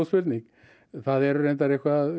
það eru reyndar